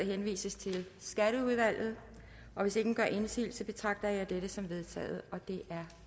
henvises til skatteudvalget hvis ingen gør indsigelse betragter jeg dette som vedtaget det er